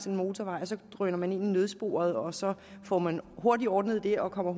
en motorvej og så drøner man ind i nødsporet og så får man hurtig ordnet det og kommer